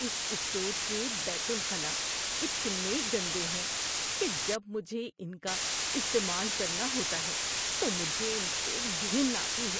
اس store کے بیت الخلا اتنے گندے ہیں کہ جب مجھے ان کا استعمال کرنا ہوتا ہے تو مجھے ان سے گھن آتی ہے۔